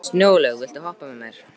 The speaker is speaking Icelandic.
Snjólaug, viltu hoppa með mér?